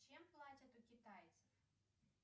чем платят у китайцев